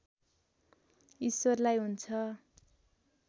ईश्वरलाई हुन्छ